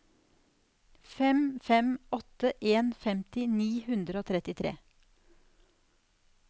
fem fem åtte en femti ni hundre og trettitre